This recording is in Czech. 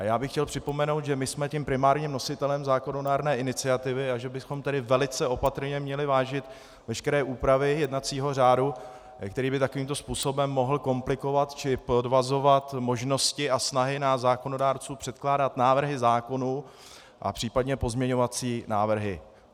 A já bych chtěl připomenout, že my jsem tím primárním nositelem zákonodárné iniciativy, a že bychom tedy velice opatrně měli vážit veškeré úpravy jednacího řádu, který by takovýmto způsobem mohl komplikovat či podvazovat možnosti a snahy nás zákonodárců předkládat návrhy zákonů a případně pozměňovací návrhy.